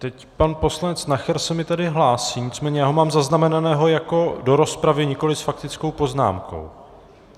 Teď pan poslanec Nacher se mi tady hlásí, nicméně já ho mám zaznamenaného jako do rozpravy, nikoliv s faktickou poznámkou.